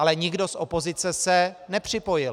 Ale nikdo z opozice se nepřipojil.